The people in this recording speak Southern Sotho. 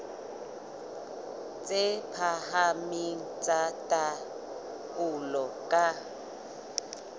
tse phahameng tsa taolo ka